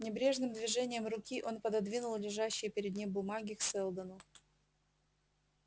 небрежным движением руки он пододвинул лежащие перед ним бумаги к сэлдону